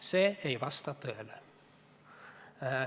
See ei vasta tõele.